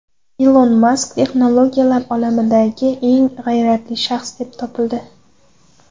Ilon Mask texnologiyalar olamidagi eng g‘ayratli shaxs deb topildi.